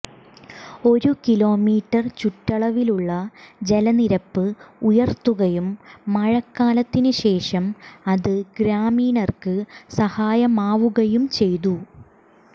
ഒരു കിലോമീറ്റർ ചുറ്റളവിലുള്ള ജലനിരപ്പ് ഉയർത്തുകയും മഴക്കാലത്തിനു ശേഷം അത് ഗ്രാമീണര്ക്ക് സഹായമാവുകയും ചെയ്തു